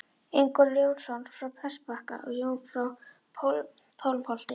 Ingólfur Jónsson frá Prestbakka og Jón frá Pálmholti.